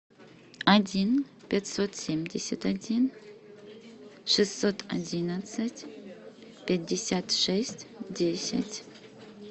один пятьсот семьдесят один шестьсот одиннадцать пятьдесят шесть десять